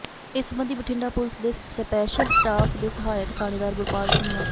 ਇਸ ਸਬੰਧੀ ਬਠਿੰਡਾ ਪੁਲਿਸ ਦੇ ਸਪੈਸ਼ਲ ਸਟਾਫ਼ ਦੇ ਸਹਾਇਕ ਥਾਣੇਦਾਰ ਗੁਰਪਾਲ ਸਿੰਘ ਨ